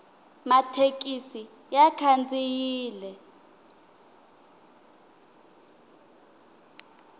mathekisi ya khandziyile